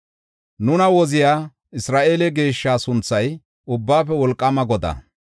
Nuna Woziya Isra7eele Geeshshaa sunthay Ubbaafe Wolqaama Godaa.